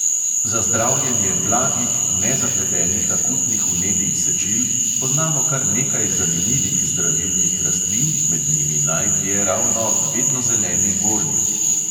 Za zdravljenje blagih, nezapletenih akutnih vnetij sečil poznamo kar nekaj zanimivih zdravilnih rastlin, med njimi najdlje ravno vednozeleni gornik.